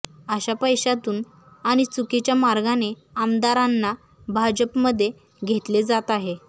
अशा पैशातून आणि चुकीच्या मार्गाने आमदारांना भाजपमध्ये घेतले जात आहे